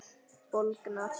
Bólgnar út.